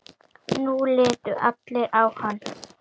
Nú litu allir á hann.